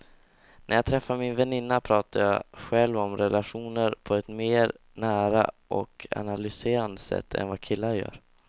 När jag träffar min väninna pratar jag själv om relationer på ett mer nära och analyserande sätt än vad killar gör.